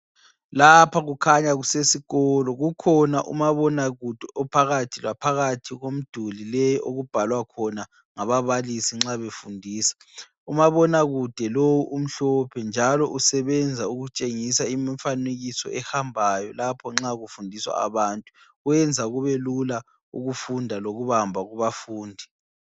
Lapha kukhanya kusesikolo, kukhona umabonakude ophakathi laphakathi komduli le okubhalwa khona ngababalisi nxa befundisa. Umabonakude lowu umhlophe njalo usebenza ukutshengisa imfanekiso ehambayo lapho nxa kufundiswa abantu. Wenza kubelula ukufunda lokubamba kubafundi.